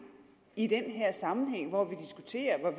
i den her sammenhæng hvor vi diskuterer